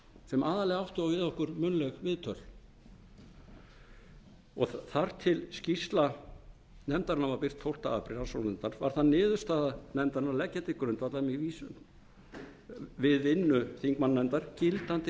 sem aðallega áttu við okkur munnleg viðtöl og þar til skýrsla nefndarinnar var birt tólfta apríl var það niðurstaða nefndarinnar að leggja til grundvallar við vinnu þingmannanefndar gildandi